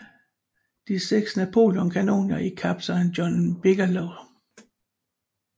De 6 Napoleon kanoner i kaptajn John Bigelows 9